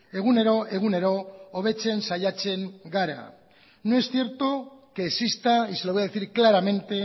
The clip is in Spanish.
egunero egunero hobetzen saiatzen gara no es cierto que exista y se lo voy a decir claramente